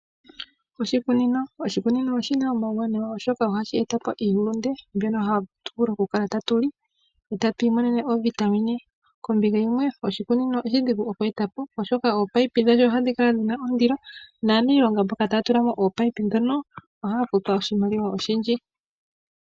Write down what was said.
Oshikunino oshina omauwanawa oshoka ohashi etapo iihulunde mbyono hatu vulu okukala tatuli etatu imonene oovitamine. Kombinga yimwe oshikunino odhigu kweetapo oshoka ominino dhasho ohadhi kala dhina ondilo naaniilonga mboka taya tulamo ominino ndhono ohaya futwa oshimaliwa oshindji.